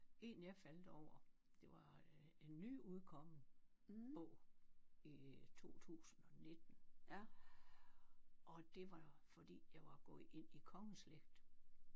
En jeg faldt over det var øh en nyudkommen bog i 2019 og det var fordi jeg var gået ind i kongeslægt